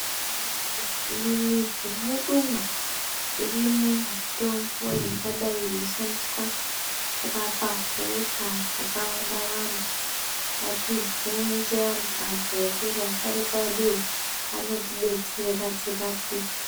Mumamwizi mwedumwo irimwo mitombo ingadai yeishandiswa kurapa hosha dzakawanda-wanda. Ngatibvunze antu akuru, asharuka eduwo, anotidetsera kuti tirapike.